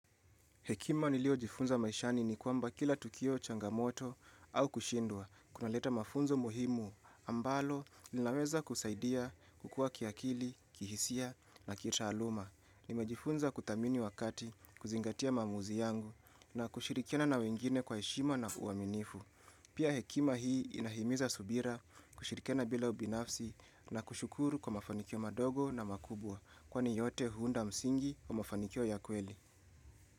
Hekima niliojifunza maishani ni kwamba kila tukio, changamoto au kushindwa kunaleta mafunzo muhimu ambalo linaweza kusaidia kukua kiakili, kihisia na kitaaluma. Nimejifunza kuthamini wakati, kuzingatia maamuzi yangu na kushirikiana na wengine kwa heshima na uaminifu. Pia hekima hii inahimiza subira kushirikiana bila ubinafsi na kushukuru kwa mafanikio madogo na makubwa kwani yote huunda msingi wa mafanikio ya kweli.